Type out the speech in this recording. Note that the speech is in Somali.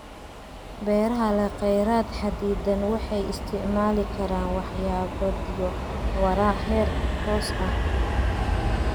Beeraha leh kheyraad xaddidan waxay isticmaali karaan waxqabadyo waara, heer hoose ah.